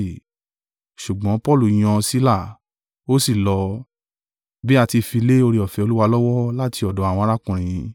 Ṣùgbọ́n Paulu yan Sila, ó sì lọ, bí a ti fi lé oore-ọ̀fẹ́ Olúwa lọ́wọ́ láti ọ̀dọ̀ àwọn arákùnrin.